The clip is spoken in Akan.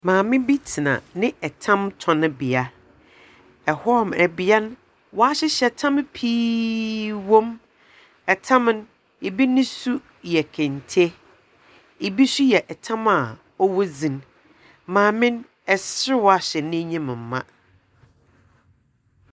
Maame bi tena ne tamtɔnbea. Ɛhɔ nom, bea no waahyehyɛ tam pii wɔ mu. Tam no, bi ne su yɛ kente. Bi nso yɛ tam a ɔwɔ dzin. Maame no, serew ahyɛ n'enyim ma.